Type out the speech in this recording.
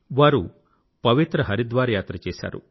వారు పవిత్ర హరిద్వార్ యాత్ర చేశారు